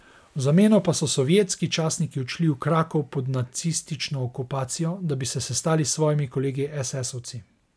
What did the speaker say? V zameno pa so sovjetski častniki odšli v Krakov pod nacistično okupacijo, da bi se sestali s svojimi kolegi esesovci.